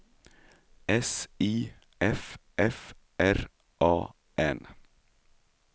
S I F F R A N